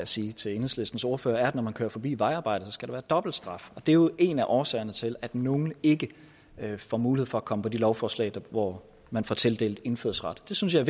sige til enhedslistens ordfører er at når man kører forbi vejarbejde skal der være dobbeltstraf og det er jo en af årsagerne til at nogle ikke får mulighed for at komme på de lovforslag hvor man får tildelt indfødsret det synes jeg